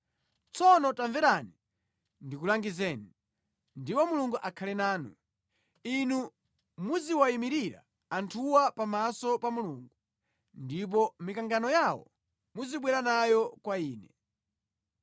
Tsono tamverani ndikulangizeni, ndipo Mulungu akhale nanu. Inu muziwayimirira anthuwa pamaso pa Mulungu, ndipo mikangano yawo muzibwera nayo kwa Iye.